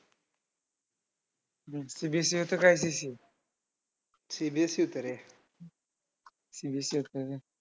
CBSE मध्ये असं काय विशेष? CBSE होतं रे. CBSE होतं?